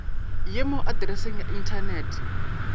ye mo atreseng ya inthanete